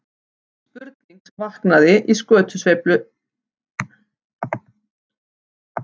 Spurning sem vaknaði í skötuveislu ársins.